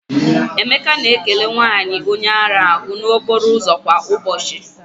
Emeka na-ekele nwanyị onye ara ahụ n'okporo ụzọ kwa ụbọchị.